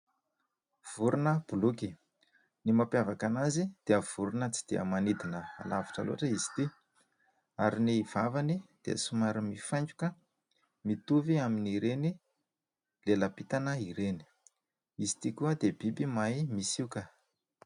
Vorona boloky. Ny mampiavaka azy dia vorona tsy dia manidina lavitra loatra izy ity ary ny vavany dia somary mifaingoka mitovy amin'ny ireny lela-pitana ireny, izy ity koa dia biby mahay misioka.